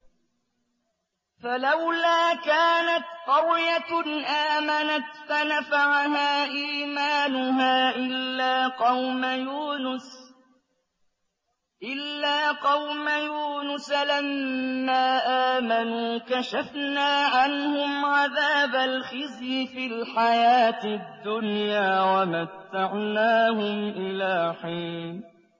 فَلَوْلَا كَانَتْ قَرْيَةٌ آمَنَتْ فَنَفَعَهَا إِيمَانُهَا إِلَّا قَوْمَ يُونُسَ لَمَّا آمَنُوا كَشَفْنَا عَنْهُمْ عَذَابَ الْخِزْيِ فِي الْحَيَاةِ الدُّنْيَا وَمَتَّعْنَاهُمْ إِلَىٰ حِينٍ